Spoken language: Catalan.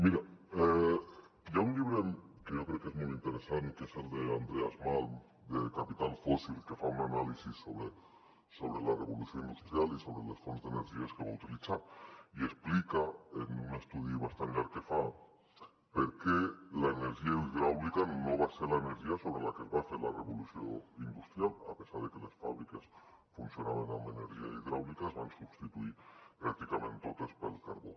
mira hi ha un llibre que jo crec que és molt interessant que és el d’andreas malm de capital fósilfonts d’energies que va utilitzar i explica en un estudi bastant llarg que fa per què l’energia hidràulica no va ser l’energia sobre la que es va fer la revolució industrial a pesar de que les fàbriques funcionaven amb energia hidràulica es van substituir pràcticament totes pel carbó